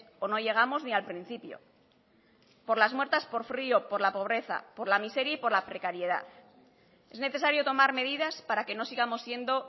o no llegamos ni al principio por las muertas por frio por la pobreza por la miseria y por la precariedad es necesario tomar medidas para que no sigamos siendo